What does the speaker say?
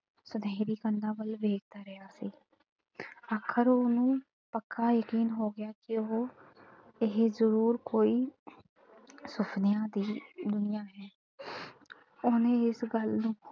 ਸੁਨਹਿਰੀ ਕੰਧਾਂ ਵੱਲ ਵੇਖਦਾ ਰਿਹਾ ਸੀ। ਆਖਿਰ ਉਹਨੂੰ ਪੱਕਾ ਯਕੀਨ ਹੋ ਗਿਆ ਕਿ ਉਹ ਇਹ ਜ਼ਰੂਰ ਕੋਈ ਸੁਪਨਿਆਂ ਦੀ ਦੁਨੀਆਂ ਹੈ ਉਹਨੇ ਇਸ ਗੱਲ ਨੂੰ,